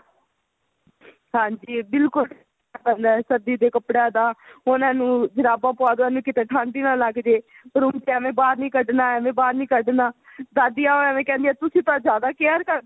ਹਾਂਜੀ ਬਿਲਕੁਲ ਸਰਦੀ ਦੇ ਕੱਪੜਿਆ ਦਾ ਉਹਨਾ ਨੂੰ ਜੁਰਾਬਾ ਪਵਾਦੋ ਏਵੇਂ ਕਿਤੇ ਠੰਡ ਹੀ ਨਾ ਲੱਗ ਜੇ room ਚ ਐਵੇ ਬਾਹਰ ਨਹੀ ਕੱਢਣਾ ਐਵੇ ਬਹਾਰ ਨਹੀ ਕੱਢਣਾ ਦਾਦੀਆ ਐਵੇ ਕਹਿੰਦੀਆਂ ਤੁਸੀਂ ਤਾਂ ਜਿਆਦਾ care ਕਰਦੇ ਓ